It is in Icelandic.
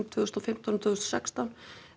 tvö þúsund og fimmtán og tvö þúsund og sextán